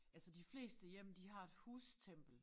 Altså de fleste hjem de har et hustempel